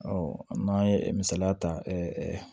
n'an ye misaliya ta